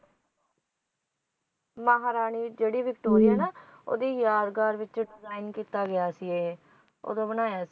ਮਹਾਰਾਣੀ ਜਿਹੜੀ ਵਿਕਟੋਰੀਆ ਹੈ ਨਾ ਉਹਦੀ ਯਾਦਗਾਰ ਵਿੱਚ design ਕੀਤਾ ਗਿਆ ਸੀ ਇਹ ਉਦੋਂ ਬਣਾਇਆ